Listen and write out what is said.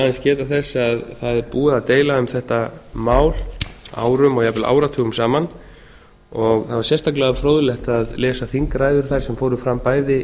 aðeins geta þess að það er búið að deila um þetta mál árum og jafnvel áratugum saman það var sérstaklega fróðlegt að lesa þingræður þær sem fóru fram bæði